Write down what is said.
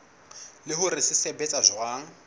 le hore se sebetsa jwang